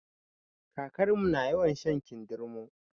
Kakarmu na yawan shan kindirmo